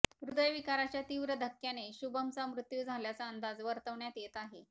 हृदय विकाराच्या तीव्र धक्क्याने शुभमचा मृत्यू झाल्याचा अंदाज वर्तविण्यात येत आहे